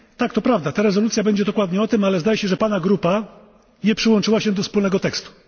Tak, to prawda, ta rezolucja będzie dokładnie o tym, ale zdaje się, że Pana grupa nie przyłączyła się do wspólnego tekstu.